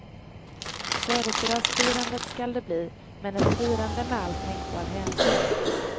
Födelsedagsfirande skall det bli, men ett firande med all tänkbar hänsyn.